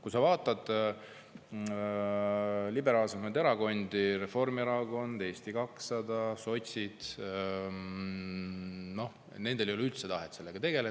Kui sa vaatad liberaalsemaid erakondi – Reformierakond, Eesti 200, sotsid –, siis nendel ei ole üldse tahet sellega tegeleda.